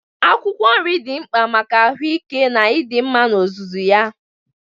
Akwụkwọ nri dị mkpa maka ahụike na ịdị mma n'ozuzu ya.